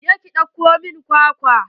Je ki ɗauko min kwakwan.